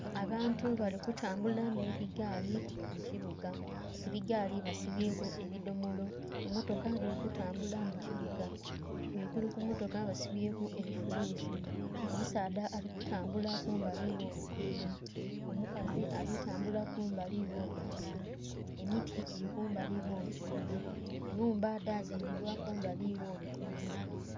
Abantu bali kutambula nh'ebigaali mukibuga, ebigaali basibyeku ebidhomolo, emmotoka dhiri kutambula mukibuga ghagulu kumotoka basibyeku ebifulusi. Omusaadha alikutambula kumbali gholugudho, omukazi alitambula kumbali gholugudho, emiti giri kumbali gholugudho, enhumba edhazimbibwa kumbali gholugudho.